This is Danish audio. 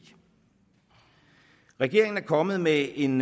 regeringen er kommet med en